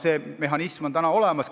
See mehhanism on olemas.